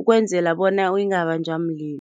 ukwenzela bona ingabanjwa mlilo.